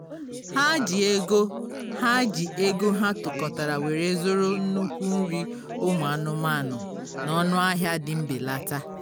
ha ji ego ha ji ego ha tukọtara were zụrụ nnukwu nri ụmụ anụmanụ na ọnụ ahịa dị mbelata